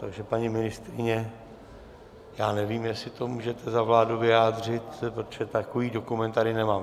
Takže paní ministryně, já nevím, jestli to můžete za vládu vyjádřit, protože takový dokument tady nemám.